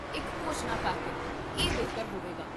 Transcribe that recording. ਇੱਕ ਘੋਸ਼ਣਾ ਕਰ ਦੇ, ਇਹ ਬਿਹਤਰ ਹੋਵੇਗਾ